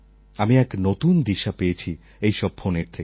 আমি এক নতুন দিশা পেয়েছি এইসব ফোনের থেকে